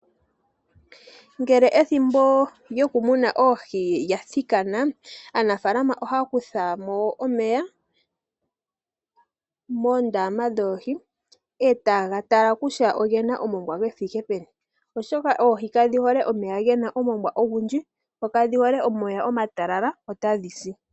Ngele ethimbo lyokumuna oohi lya thikana aanafaalama ohaya kutha mo omeya moondama dhoohi e taye ga tala kutya ogena omongwa gu thike peni oshoka oohi kadhi hole omeya gena omongwa ogundji dho kadhi hole omeya omatalala otadhi si.